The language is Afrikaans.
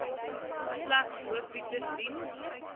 slegs hoofletters dien